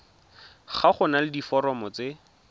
ga go na diforomo tse